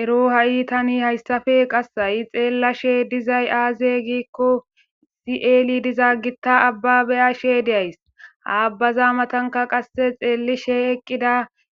Ero ha7i tani hayssafe qassayi xeellashe dizay aaze giikko sieli diza gitta abba beyashe deays aabbaza matanka qasse xeelli she eqqida